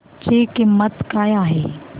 ची किंमत काय आहे